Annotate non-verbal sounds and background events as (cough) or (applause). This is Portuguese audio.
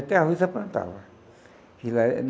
Até arroz ele plantava. (unintelligible)